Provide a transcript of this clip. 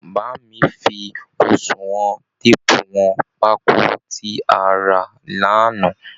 Bá mi fi oṣùwọn téèpù wọn pákó tí a rà lánàá